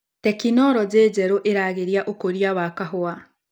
Teknologĩ njerũ ĩragĩria ũkũria wa kahũa.